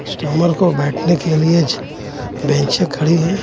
Customer को बैठने के लिए ज बेंचे खड़ी है.